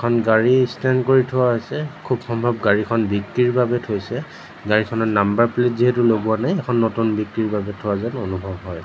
এখন গাড়ী ষ্টেণ্ড কৰি থোৱা হৈছে খুব সম্ভৱ গাড়ীখন বিক্ৰীৰ বাবে থৈছে গাড়ীখনৰ নাম্বাৰ প্লেট যিহেতু লগোৱা নাই এইখন নতুন বিক্ৰীৰ বাবে থোৱা যেন অনুভৱ হয়।